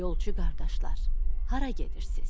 Yolçu qardaşlar, hara gedirsiz?